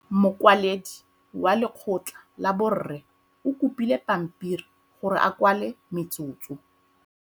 Mokwaledi wa lekgotla la borre o kopile pampiri gore a kwale metsotso.